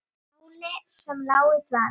Máli sem lá í dvala!